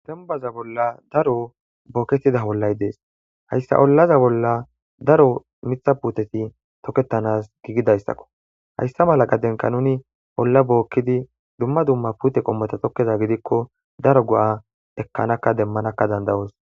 Dembbaza bolla daro boketida ollaay dees. Hayssa ollaza bolla daro miththata puute tokketanasi giigidayssakko. Hayssa mala gaden nuni olla bookidi dumma dumma puute qommota tokida gidikko daro go7a ekkanakka immanakka dandda7oos.